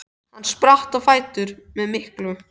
Hann spratt á fætur með miklu